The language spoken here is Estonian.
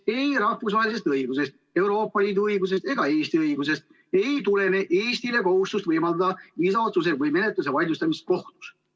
Ei rahvusvahelisest õigusest, Euroopa Liidu õigusest ega Eesti õigusest ei tulene Eestile kohustust võimaldada viisaotsuste või -menetluste vaidlustamist kohtus.